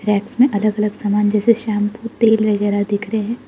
Racks में अलग अलग सामान जैसे शैंपू तेल वगैरा दिख रहे हैं।